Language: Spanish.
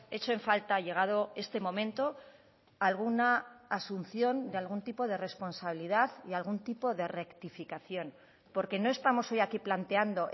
echo en falta llegado este momento alguna asunción de algún tipo de responsabilidad y algún tipo de rectificación porque no estamos hoy aquí planteando